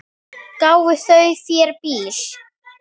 Gáfu þau þér bíl?